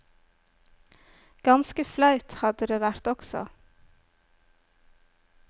Ganske flaut hadde det vært også.